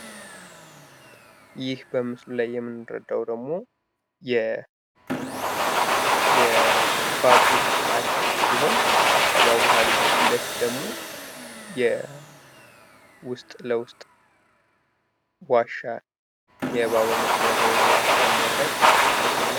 ይህ በምስሉ ላይ የምንረዳው ደግሞ የባቡር ሀድድ ሲሆን ከባቡር ሃዲዱ ፊት ለፊት ደግሞ ውስጥ ለውስጥ የሚያሳልፍ የባቡር መሸጋገሪያ የሆነ ዋሻ የሚያሳይ ምስል ነው።